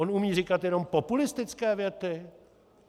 On umí říkat jenom populistické věty?